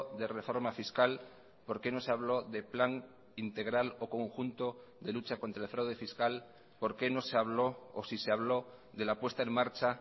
de reforma fiscal por qué no se habló de plan integral o conjunto de lucha contra el fraude fiscal por qué no se habló o si se habló de la puesta en marcha